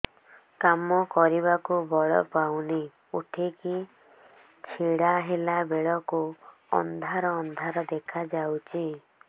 କାମ କରିବାକୁ ବଳ ପାଉନି ଉଠିକି ଛିଡା ହେଲା ବେଳକୁ ଅନ୍ଧାର ଅନ୍ଧାର ଦେଖା ଯାଉଛି